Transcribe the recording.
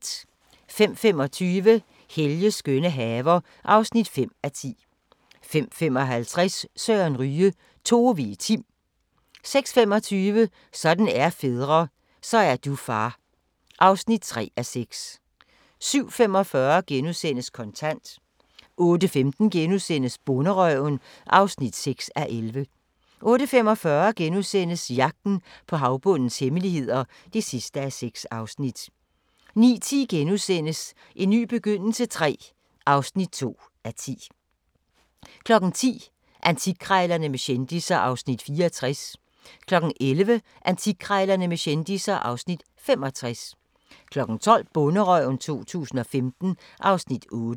05:25: Helges skønne haver (5:10) 05:55: Søren Ryge: Tove i Tim 06:25: Sådan er fædre - så er du far (3:6) 07:45: Kontant * 08:15: Bonderøven (6:11)* 08:45: Jagten på havbundens hemmeligheder (6:6)* 09:10: En ny begyndelse III (2:10)* 10:00: Antikkrejlerne med kendisser (Afs. 64) 11:00: Antikkrejlerne med kendisser (Afs. 65) 12:00: Bonderøven 2015 (Afs. 8)